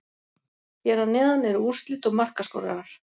Hér að neðan eru úrslit og markaskorarar.